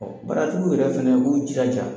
Ɔ baaratigiw yɛrɛ fana k'o jiraja